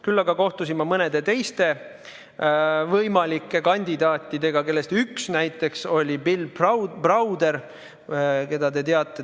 Küll aga kohtusin mõnede teiste võimalike kandidaatidega, kellest üks näiteks oli Bill Brauder, keda te teate.